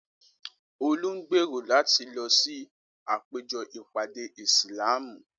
Olú ń gbèrò láti lọ sí àpéjọ ìpàdé Ìsìlámù.